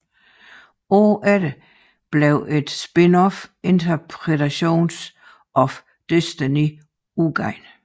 Året efter blev et spinoff Interpretations of Destiny udgivet